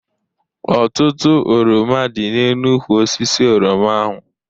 Ọtụtụ oroma dị n'elu ukwụ osisi oroma ahụ.